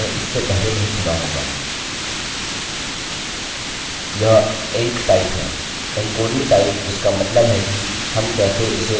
यह enctype है encoding type जिसका मतलब है कि हम कैसे इसे इनकोड करने जा रहे हैं